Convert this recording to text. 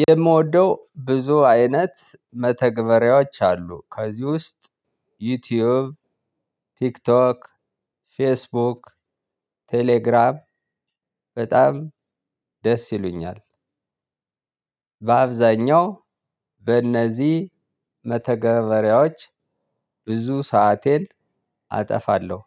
የምወደው ብዙ አይነት መተግበሪያዎች አሉ ከዚህ ውስጥ ዩቲዩብ ቲክቶክ ፌስቡክ ቴሌግራም በጣም ደስ ይሉኛል። በአብዛኛው በነዚህ መተገበሪያዎች ብዙ ሰአቴን አጠፋለሁ።